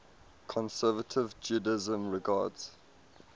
conservative judaism regards